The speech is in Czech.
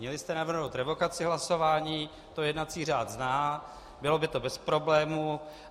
Měli jste navrhnout revokaci hlasování, to jednací řád zná, bylo by to bez problémů.